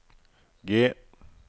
G